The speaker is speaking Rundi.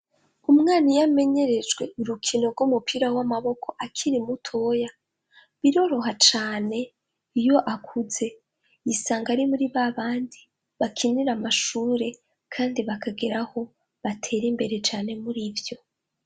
Umwana iyamenyerejwe urukino rw'umupira w'amaboko akiri mutoya ,biroroha cane iyo akuze. Yisanga ari muri babandi bakinira amashure kandi bakageraho batera imbere cane murivyo.